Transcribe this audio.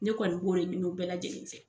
Ne kɔni b'o de ɲini u bɛɛ lajɛlen fɛ.